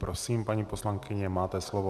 Prosím, paní poslankyně, máte slovo.